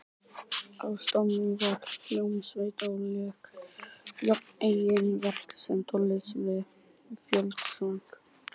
Á staðnum var hljómsveit og lék jafnt eigin verk sem tónlist við fjöldasöng.